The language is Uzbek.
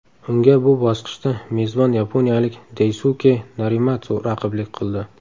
Unga bu bosqichda mezbon yaponiyalik Daysuke Narimatsu raqiblik qildi.